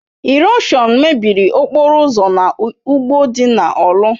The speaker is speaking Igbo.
Ịròshọn mebiri okporo ụzọ na ugbo dị na Orlu.